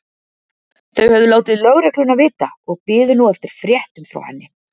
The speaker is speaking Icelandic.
Þau höfðu látið lögregluna vita og biðu nú eftir fréttum frá henni.